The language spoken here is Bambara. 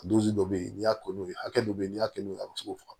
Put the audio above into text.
Dusu dɔ be yen n'i y'a ko n'u ye hakɛ dɔ be yen n'i y'a kɛ n'u ye a be se k'o faga